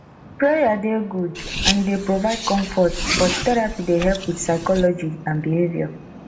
prayer dey good and e dey provide comfort but therapy dey help with psychology and behaviour